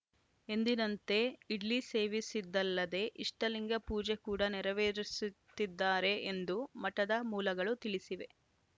ಎಂದಿನಂತೆ ಇಡ್ಲಿ ಸೇವಿಸಿದ್ದಲ್ಲದೆ ಇಷ್ಟಲಿಂಗ ಪೂಜೆ ಕೂಡ ನೆರವೇರಿಸುತ್ತಿದ್ದಾರೆ ಎಂದು ಮಠದ ಮೂಲಗಳು ತಿಳಿಸಿವೆ